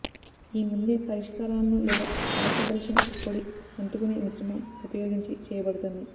ఈ ముందే పరిష్కారాలను లేదా పలచబరిచిన పొడి అంటుకునే మిశ్రమం ఉపయోగించి చేయబడుతుంది